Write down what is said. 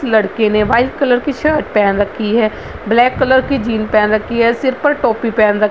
लड़के ने white colour की शर्ट पहन रखी है ब्लैक कलर जीन्स पहन रखी है | सिर पर टोपी पहन रख --